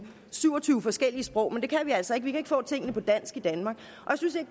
syv og tyve forskellige sprog men det kan vi altså ikke vi kan ikke få tingene på dansk i danmark